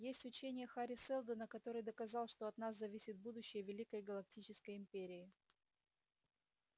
есть учение хари сэлдона который доказал что от нас зависит будущее великой галактической империи